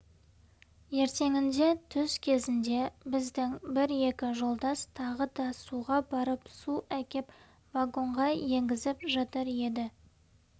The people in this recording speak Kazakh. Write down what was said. ертеңінде түс кезінде біздің бір-екі жолдас тағы да суға барып су әкеп вагонға енгізіп жатыр еді